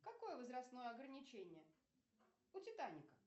какое возрастное ограничение у титаника